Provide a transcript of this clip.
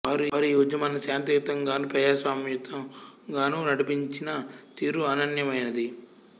వారు ఈ ఉద్యమాన్ని శాంతియుతంగాను ప్రజాస్వామ్యయుతంగానూ నడిపించిన తీరు అనన్యమైనది